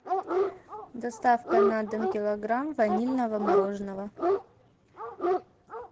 доставка на дом килограмм ванильного мороженого